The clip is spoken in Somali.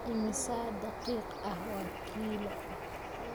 Immisa daqiiq ah waa kiiloo?